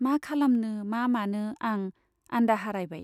मा खालामनो मा मानो आं आन्दाहारायबाय।